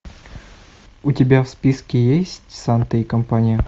у тебя в списке есть санта и компания